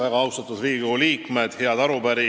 Väga austatud Riigikogu liikmed!